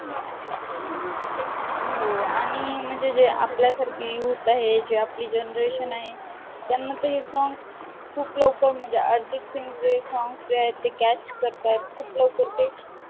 हो. आणि म्हणजे जे आपल्यासारखी youth आहे जी आपली generation आहे त्यांना ते song खूप लवकर म्हणजे अर्जितसिंगचे songs जे आहेत ते catch करताहेत खूप लवकर ते